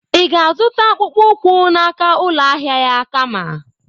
Ị ga-azụta akpụkpọ ụkwụ n'aka ụlọ ahịa ya kama?